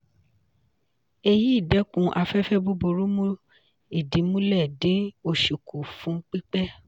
èyí dẹ́kun afẹ́fẹ́ búburú mú ìdí mulẹ̀ dín òṣì kù fún pípẹ́.